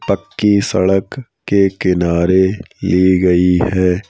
पक्की सड़क के किनारे ली गई है।